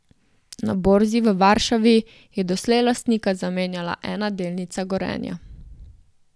Na borzi v Varšavi je doslej lastnika zamenjala ena delnica Gorenja.